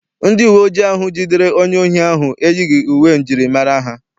Ndị uwe ojii ahụ jidere onye ohi ahụ eyighị uwe m jiri mara ha.